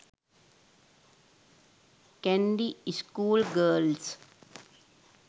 kandy school girls